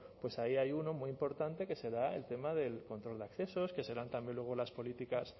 pues ahí hay uno muy importante que será el tema del control de accesos que serán también luego las políticas